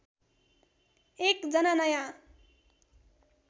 एक जना नयाँ